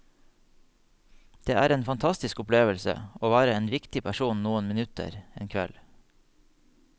Det er en fantastisk opplevelse å være en viktig person noen minutter en kveld.